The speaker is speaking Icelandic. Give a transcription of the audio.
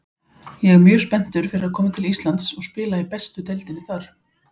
Ég er mjög spenntur fyrir að koma til Íslands og spila í bestu deildinni þar.